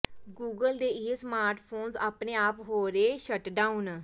Google ਦੇ ਇਹ smartphones ਆਪਣੇ ਆਪ ਹੋ ਰਹੇ ਹਨ ਸ਼ਟਡਾਊਨ